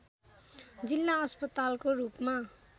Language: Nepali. जिल्ला अस्पतालको रूपमा